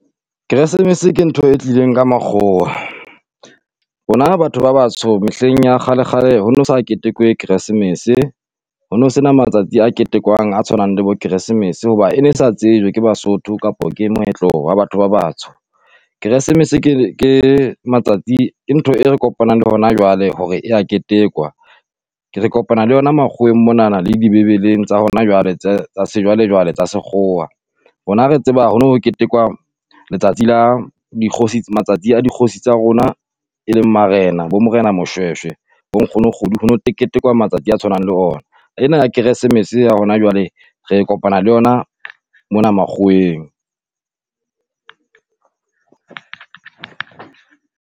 Keresemese ke ntho e tlileng ka mokgowa, rona batho ba batsho mehleng ya kgale kgale ho no sa ketekwe Keresemese. Hono sena matsatsi a ketekwang a tshwanang le bo Keresemese hoba ene sa tsejwe ke Basotho, kapo ke moetlo wa batho ba batsho. Keresemese ke ke matsatsi ke ntho e re kopanang le hona jwale hore e ya ketekwa ke re kopana le yona makgoweng monana le dibebeleng tsa hona jwale tse tsa sejwale-jwale tsa sekgowa. Rona re tseba ho no ketekwa letsatsi la dikgosi matsatsi a dikgosi tsa rona, e leng Marena bo Morena Moshoeshoe bo nkgono Kgodu, ho no teketekwa matsatsi a tshwanang le ona. Ena ya Kresemese ya hona jwale re kopana le yona mona makgoweng.